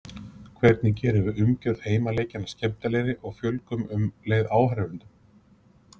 Hvernig gerum við umgjörð heimaleikjanna skemmtilegri og fjölgum um leið áhorfendum?